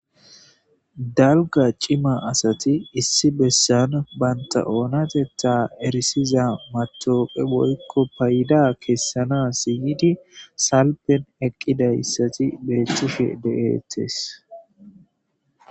Dalga cima asati issi bessan banta oonatetta erisiza matoqe woykko payida kessanasi yidi salpen eqqida assati beettishe deettes.